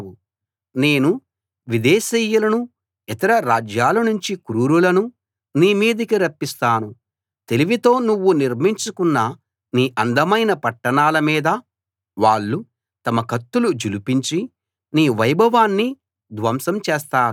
నేను విదేశీయులను ఇతర రాజ్యాలనుంచి క్రూరులను నీ మీదికి రప్పిస్తాను తెలివితో నువ్వు నిర్మించుకున్న నీ అందమైన పట్టణాల మీద వాళ్ళు తమ కత్తులు ఝళిపించి నీ వైభవాన్ని ధ్వంసం చేస్తారు